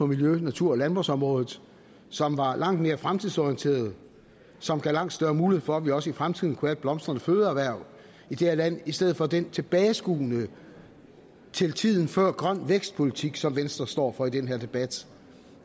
miljø natur og landbrugsområdet som var langt mere fremtidsorienterede og som gav langt større mulighed for at vi også i fremtiden kunne have et blomstrende fødevareerhverv i det her land i stedet for den tilbageskuen til tiden før grøn vækst politik som venstre står for i den her debat